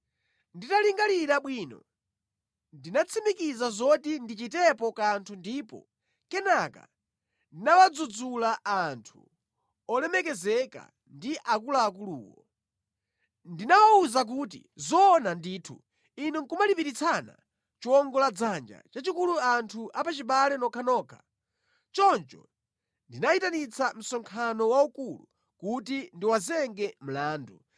Nditalingalira bwino ndinatsimikiza zoti ndichitepo kanthu ndipo kenaka ndinawadzudzula anthu olemekezeka ndi akuluakuluwo. Ndinawawuza kuti, “Zoona ndithu inu nʼkumalipiritsana chiwongoladzanja chachikulu anthu apachibale nokhanokha!” Choncho ndinayitanitsa msonkhano waukulu kuti ndiwazenge mlandu